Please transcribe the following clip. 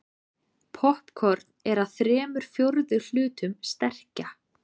Poppkorn er að þremur fjórðu hlutum sterkja.